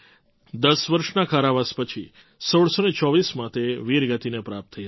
દસ વર્ષના કારાવાસ પછી ૧૬૨૪માં તે વીરગતિને પ્રાપ્ત થઈ હતી